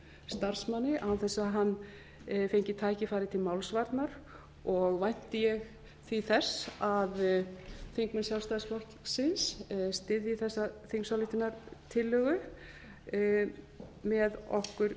starfsmanni án þess að hann fengi tækifæri til málsvarnar og vænti ég því þess að þingmenn sjálfstæðisflokksins styðji þessa þingsályktunartillögu með okkur